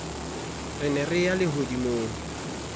re ne re ya lehodimong